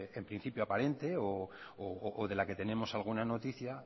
en principio aparente o de la que tenemos alguna noticia